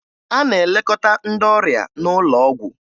A na-elekọta ndị ọrịa n'ụlọ ọgwụ